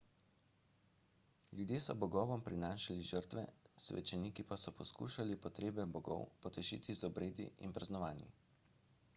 ljudje so bogovom prinašali žrtve svečeniki pa so poskušali potrebe bogov potešiti z obredi in praznovanji